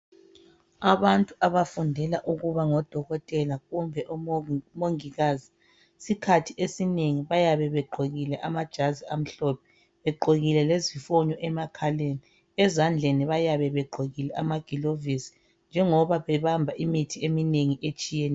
Abantu abafundela ukuba ngodokotela kumbe omongikazi sikhathi esinengi bayabe begqokile amajazi amhlophe begqokile lezifonyo emakhaleni ezandleni bayabe begqokile lamagilavusi njengoba bebamba imithi eminengi etshiyeneyo.